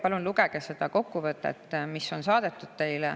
Palun lugege seda kokkuvõtet, mis on teile saadetud.